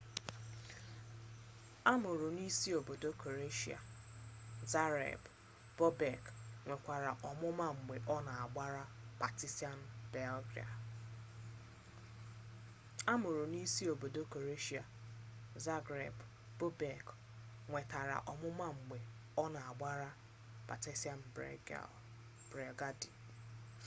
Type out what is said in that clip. a mụrụ n'isi obodo kroeshịa zagreb bobek nwetara ọmụma mgbe ọ na-agbara partizan belgradi